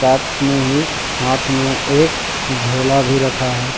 साथ में ही हाथ में एक झोला भी रखा है।